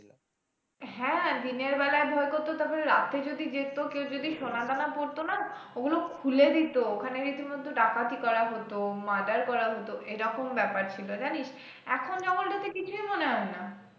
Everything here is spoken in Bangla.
হ্যাঁ দিনের বেলায় ভয় করতো তারপর রাতে যদি যেত কেউ যদি সোনাদানা পড়তো না, ওগুলো খুলে দিত ওখানে রীতিমতো ডাকাতি করা হতো murder করা হতো, এরকম ব্যাপার ছিল জানিস? এখন জঙ্গলটাতে কিছুই মনে হয় না।